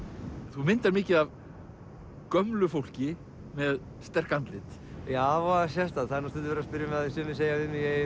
þú myndar mikið af gömlu fólki með sterk andlit já voða sérstakt sumir segja við